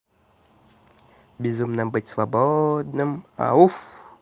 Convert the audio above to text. безумно быть свободным